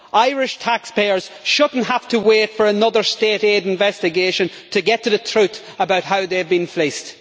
Irish taxpayers should not have to wait for another state aid investigation to get to the truth about how they have been fleeced.